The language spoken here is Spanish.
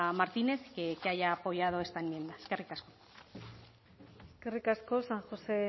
martínez que haya apoyado esta enmienda eskerrik asko eskerrik asko san josé